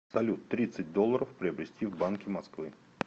салют тридцать долларов приобрести в банке москвы